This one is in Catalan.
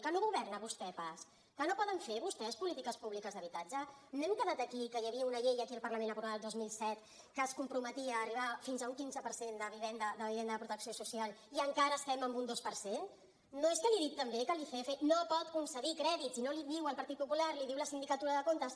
que no governa vostè pas que no poden fer vostès polítiques públiques d’habitatge no hem quedat aquí que hi havia una llei aquí al parlament aprovada el dos mil set que es comprometia a arribar fins a un quinze per cent de vivenda de protecció social i encara estem en un dos per cent no és que li he dit també que l’icf no pot concedir crèdits i no l’hi diu el partit popular l’hi diu la sindicatura de comptes